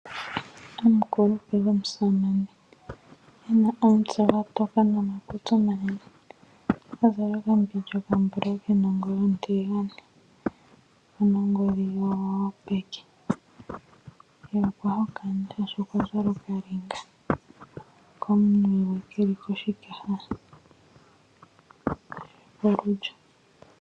Omukulupe gomusamane e na omutse gwa toka nomakutsi omanene, a zala okambindja okambulawu ke na ongoyo ontiligane. Oku na wo ongodhi yopeke ye okwa hokana, oshoka okwa zala okalinga komunwe ke li koshikaha shokolulyo.